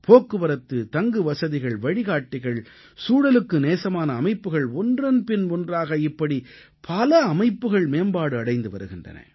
போக்குவரத்து தங்குவசதிகள் வழிகாட்டிகள் சூழலுக்கு நேசமான அமைப்புகள் ஒன்றன்பின் ஒன்றாக இப்படி பல அமைப்புகள் மேம்பாடு அடைந்து வருகின்றன